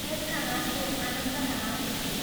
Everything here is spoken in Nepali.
त्यसका आँसु आनन्दका आँसु थिए।